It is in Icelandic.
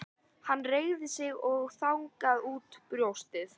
Hann reigði sig og þandi út brjóstið.